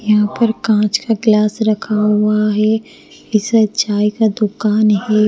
यहां पर कांच का गिलास रखा हुआ है इससे चाय का दुकान है।